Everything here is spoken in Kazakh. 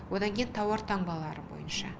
одан кейін тауар таңбалары бойынша